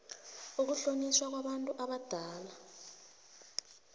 ukuhlonitjhwa kwabantu abadala